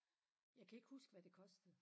Jeg kan ikke huske hvad det kostede